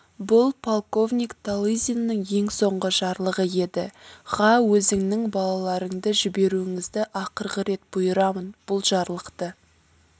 бұл полковник талызинның ең соңғы жарлығы еді ға өзіңнің балаларыңды жіберуіңізді ақырғы рет бұйырамын бұл жарлықты